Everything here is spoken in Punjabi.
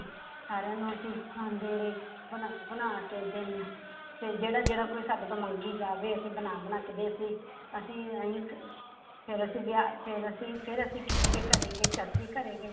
ਸਾਰਿਆਂ ਨੂੰ ਅਸੀਂ ਖੁਆਂਦੇ ਰਹੇ ਬਣਾ ਬਣਾ ਕੇ ਦਿੰ~ ਤੇ ਜਿਹੜਾ ਜਿਹੜਾ ਕੋਈ ਸਾਡੇ ਤੋਂ ਮੰਗੀ ਜਾਵੇ ਅਸੀਂ ਬਣਾ ਬਣਾ ਕੇ ਤੇ ਅਸੀਂ ਅਸੀਂ ਇਉਂ ਕ~ ਫਿਰ ਅਸੀਂ ਵਿਆਹ, ਫਿਰ ਅਸੀਂ ਫਿਰ ਅਸੀਂ ਕਿਸੇ ਦੇ ਘਰੇ ਗਏ, ਚਾਚੀ ਘਰੇ ਗਏ।